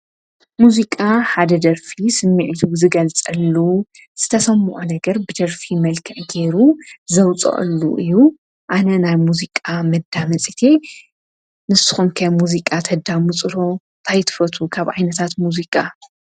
ሙዙቃ ሓደ ደርፊ ስሚዕቱ ዝገል ጸሉ ዝተሰምዖ ነገር ብደርፊ መልክዕ ገይሩ ዘውፅኦሉ እዩ ኣነ ናል ሙዚቃ መዳመጺቲ ንስኾምከ ሙዚቃ ተዳ ሙጽሮ ታይትፈቱ ካብ ኣይነታት ሙዙቃ